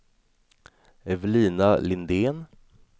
Evelina Lindén